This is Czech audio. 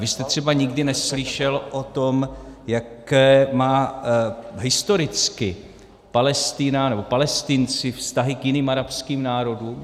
Vy jste třeba nikdy neslyšel o tom, jaké má historicky Palestina nebo Palestinci vztahy k jiným arabským národům?